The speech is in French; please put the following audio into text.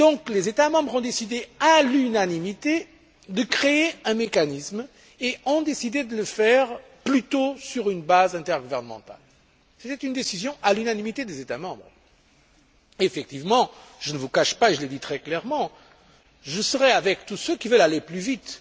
Les États membres ont donc décidé à l'unanimité de créer un mécanisme et de le faire plutôt sur une base intergouvernementale. C'était une décision à l'unanimité des États membres. Effectivement, je ne vous cache pas et je l'ai dit très clairement que je serai avec tous ceux qui veulent aller plus vite.